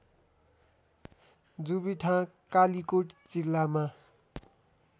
जुबिथाँ कालिकोट जिल्लामा